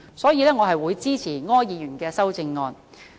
因此，我會支持柯議員的修正案。